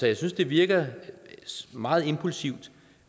jeg synes det virker meget impulsivt